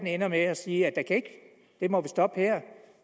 ender med at sige at vi må stoppe her